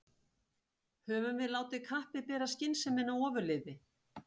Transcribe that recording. Höfum við látið kappið bera skynsemina ofurliði?